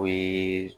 O ye